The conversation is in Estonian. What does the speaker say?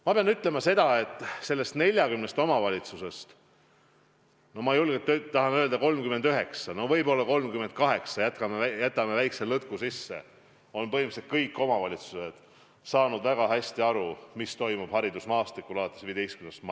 Ma pean ütlema, et sellest 40 omavalitsusest, võib julgelt öelda, 39 või vahest 38 – jätame väikese lõtku sisse – on saanud väga hästi aru, mis toimub haridusmaastikul alates 15. maist.